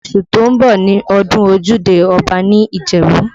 Oṣù tó ń bọ̀ ni ọdún ojúde Ọba ní Ìjẹ̀bú